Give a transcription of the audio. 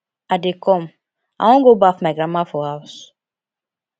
i dey come i wan go baff my grandma for house